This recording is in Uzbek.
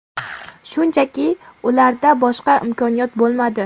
Shunchaki, ularda boshqa imkoniyat bo‘lmadi.